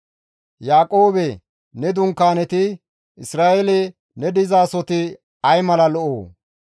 Yaaqoobe ne dunkaaneti Isra7eele ne dizasoti ay mala lo7oo?